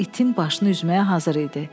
O itin başını üzməyə hazır idi.